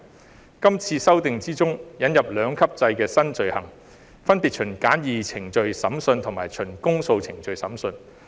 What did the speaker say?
在今次修訂之中，引入兩級制新罪行，分別循簡易程序審訊及循公訴程序審訊。